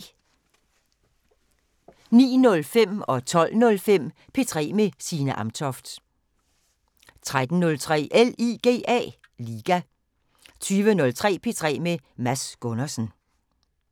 09:05: P3 med Signe Amtoft 12:05: P3 med Signe Amtoft 13:03: LIGA 20:03: P3 med Mads Gundersen